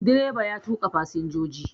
Direba ya tuƙa fasinjoji